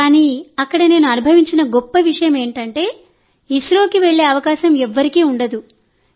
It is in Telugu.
కానీ అక్కడ నేను అనుభవించిన గొప్ప విషయం ఏమిటంటే ఇస్రోకి వెళ్లే అవకాశం ఎవరికీ ఉండదు